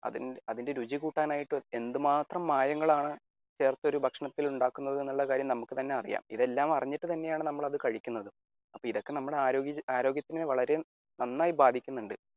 അത്അതിന്റെ രുചി കൂട്ടാനായിട്ട് എന്ത് മാത്രം മായങ്ങളാണ് ചേർത്തൊരു ഭക്ഷണത്തിൽ ഉണ്ടാക്കുന്നത് എന്നുള്ള കാര്യം നമുക്ക് തന്നെ അറിയാം എല്ലാം അറിഞ്ഞിട്ടു തന്നെയാണ് നമ്മൾ അത് കഴിക്കുന്നത്. അപ്പൊ ഇതൊക്കെ നമ്മുടെ ആരോഗൃആരോഗ്യത്തിന് വളരെ നന്നായി ബാധിക്കുന്നുണ്ട്